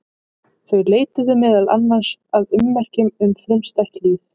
Þau leituðu meðal annars að ummerkjum um frumstætt líf.